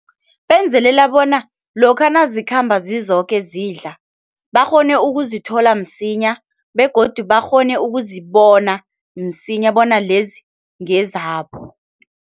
Benzelela bona lokha nazikhamba zizoke zidla, bakghone ukuzithola msinya begodu bakghone ukuzibona msinya bona lezi ngezabo.